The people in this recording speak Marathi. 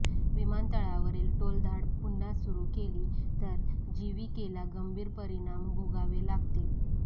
विमानतळावरील टोलधाड पुन्हा सुरू केली तर जीव्हीकेला गंभीर परिणाम भोगावे लागतील